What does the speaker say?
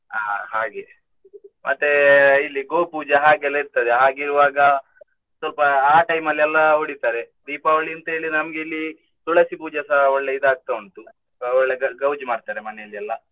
ಅಹ್ ಹಾಗೆ ಮತ್ತೆ ಇಲ್ಲಿ ಗೋಪೂಜೆ ಹಾಗೆಲ್ಲ ಇರ್ತದೆ ಹಾಗಿರ್ವಾಗ ಸ್ವಲ್ಪ ಆ time ಅಲ್ಲಿ ಎಲ್ಲಾ ಹೊಡಿತಾರೆ. Deepavali ಅಂತ ಹೇಳಿ ನಮ್ಗಿಲ್ಲಿ ತುಳಸಿ ಪೂಜೆಸ ಒಳ್ಳೆ ಇದು ಆಗ್ತ ಉಂಟು ಒಳ್ಳೆ ಗೌಜಿ ಮಾಡ್ತಾರೆ ಮನೆಯಲ್ಲಿ ಎಲ್ಲಾ.